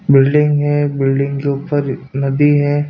Building है building के ऊपर नदी है।